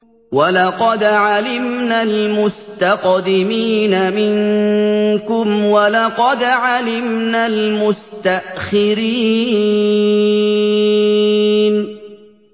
وَلَقَدْ عَلِمْنَا الْمُسْتَقْدِمِينَ مِنكُمْ وَلَقَدْ عَلِمْنَا الْمُسْتَأْخِرِينَ